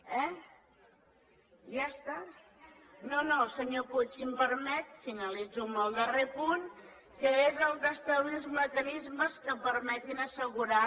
ja està si em permet finalitzo amb el darrer punt que és el d’establir els mecanismes que permetin assegurar